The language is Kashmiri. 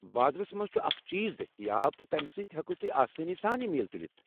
بازرس منٛز چھ اکھ چیٖز دٔستیاب، تہٕ تمہِ سٕتۍ ہیكِو تُہۍ آسٲنی سان یہِ تُلِتھ ۔